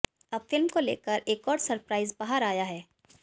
अब फिल्म को लेकर एक और सरप्राईज़ बाहर आया है